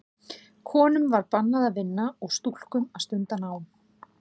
Konum var bannað að vinna og stúlkum að stunda nám.